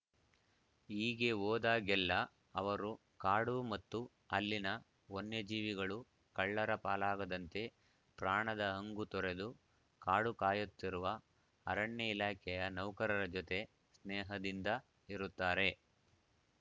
ಹೀಗೆ ಹೋದಾಗೆಲ್ಲಾ ಅವರು ಕಾಡು ಮತ್ತು ಅಲ್ಲಿನ ವನ್ಯ ಜೀವಿಗಳು ಕಳ್ಳರ ಪಾಲಾಗದಂತೆ ಪ್ರಾಣದ ಹಂಗು ತೊರೆದು ಕಾಡು ಕಾಯುತ್ತಿರುವ ಅರಣ್ಯ ಇಲಾಖೆಯ ನೌಕರರ ಜೊತೆ ಸ್ನೇಹದಿಂದ ಇರುತ್ತಾರೆ